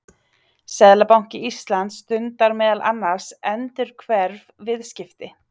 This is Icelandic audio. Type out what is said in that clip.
seðlabanki íslands stundar meðal annars endurhverf viðskipti